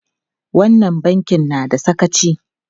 Wannan bankin na da sakaci!